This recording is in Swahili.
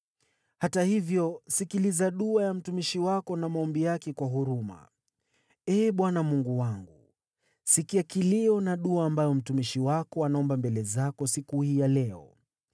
Hata hivyo sikiliza dua ya mtumishi wako na maombi yake kwa huruma, Ee Bwana Mungu wangu. Sikia kilio na dua ambayo mtumishi wako anaomba mbele zako siku hii ya leo.